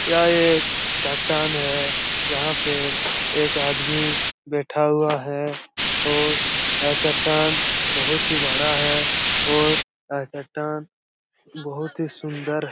यह एक चट्टान है जहाँ पे एक आदमी बैठा हुआ है और अ चट्टान बहोत ही बड़ा है और यह चट्टान बहोत ही सुन्दर --